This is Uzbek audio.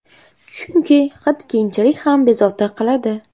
Chunki hid keyinchalik ham bezovta qiladi.